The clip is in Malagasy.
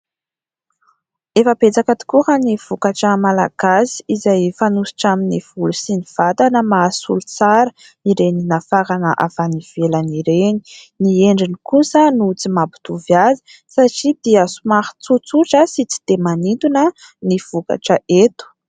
Efa betsaka tokoa raha ny vokatra malagasy izay fanosotra amin'ny volo sy ny vatana, mahasolo tsara ireny nafarana avy any ivelany ireny ; ny endriny kosa no tsy mampitovy azy satria dia somary tsotsotra sy tsy de manintona ny vokatra eto.